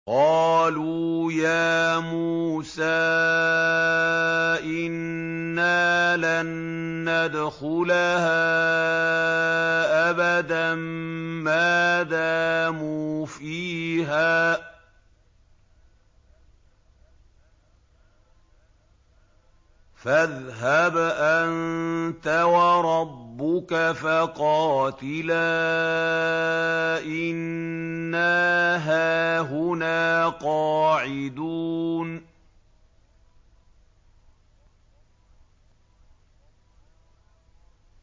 قَالُوا يَا مُوسَىٰ إِنَّا لَن نَّدْخُلَهَا أَبَدًا مَّا دَامُوا فِيهَا ۖ فَاذْهَبْ أَنتَ وَرَبُّكَ فَقَاتِلَا إِنَّا هَاهُنَا قَاعِدُونَ